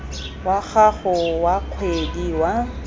wa gago wa kgwedi wa